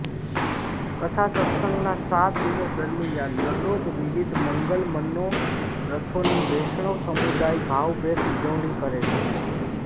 કથા સત્સંગના સાત દિવસ દરમિયાન દરરોજ વિવિધ મંગલ મનોરથોની વૈષ્ણવ સમુદાય ભાવભેર ઉજવણી કરે છે